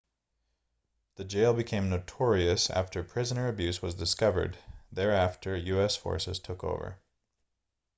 the jail became notorious after prisoner abuse was discovered there after us forces took over